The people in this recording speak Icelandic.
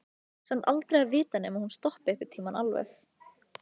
Samt aldrei að vita nema hún stoppi einhvern tímann alveg.